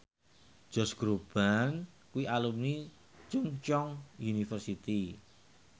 Josh Groban kuwi alumni Chungceong University